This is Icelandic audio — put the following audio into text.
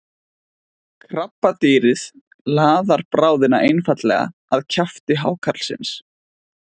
krabbadýrið laðar bráðina einfaldlega að kjafti hákarlsins